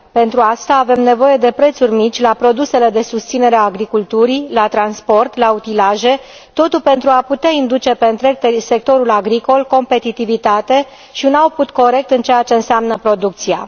Pentru asta avem nevoie de prețuri mici la produsele de susținere a agriculturii, la transport, la utilaje, totul pentru a putea induce pe întreg sectorul agricol competitivitate și un corect în ceea ce înseamnă producția.